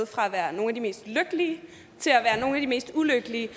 fra at være nogle af de mest lykkelige til at være nogle af de mest ulykkelige